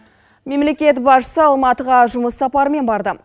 мемлекет басшысы алматыға жұмыс сапарымен барды